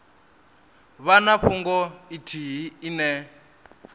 vha na fhungo ithihi ine